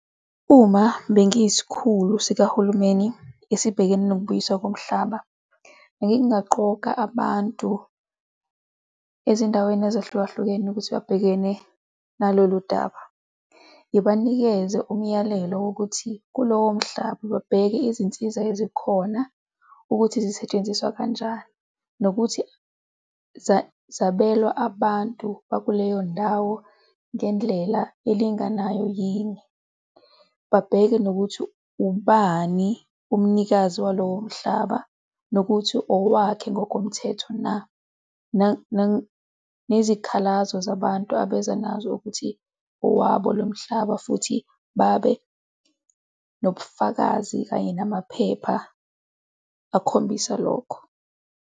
Uma bengiyisikhulu sikahulumeni esibhekene nokubuyiswa komhlaba, bengingaqoka abantu ezindaweni ezahlukahlukene ukuthi babhekene nalolu daba. Ngibanikeze umyalelo wokuthi kulowo mhlaba babheke izinsiza ezikhona ukuthi zisetshenziswa kanjani nokuthi zabelwa abantu bakuleyo ndawo ngendlela elinganayo yini. Babheke nokuthi ubani umnikazi walowo mhlaba nokuthi owakhe ngokomthetho na, nezikhalazo zabantu abeza nazo ukuthi owabo lo mhlaba, futhi babe nobufakazi kanye namaphepha akhombisa lokho.